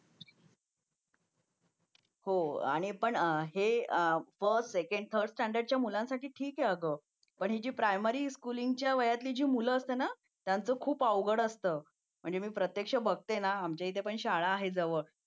हो आणि पण हे फर्स्ट सेकंड आणि थर्ड च्या मुलांसाठी ठीक आहे अगं पण ही प्रायमरी मुलींच्या त्यांच्या वयाची मुलं आहेत ना त्यांचं खूप अवघड असतं मी प्रत्यक्ष बघते ना आमच्या इथे पण शाळा आहे जवळ